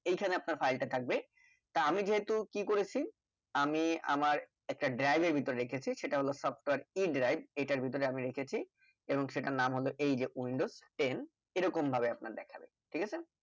এই খানে আপনার file টা থাকবে তা আমি যেহুতু কি করেছি আমি আমার একটা drive এর ভিতরে রেখেছি সেটা হলো software e drive এটার ভিতরে আমি রেখেছি এবং সেটার নাম হলো এইযে windows ten এইরকম ভাবে আপনার দেখবেন ঠিক আছে